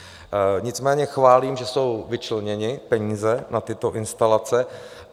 Nicméně chválím, že jsou vyčleněny peníze na tyto instalace.